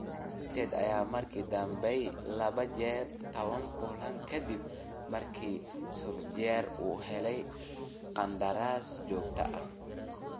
United ayaa markii dambe badisay laba jeer 10 kulan ka dib markii Solskjaer uu helay qandaraas joogto ah.